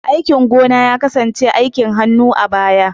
Aikin gona ya kasance aikin hannu a baya.